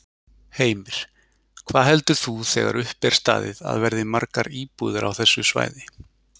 Heimir: Hvað heldur þú þegar upp er staðið að verði margar íbúðir á þessu svæði?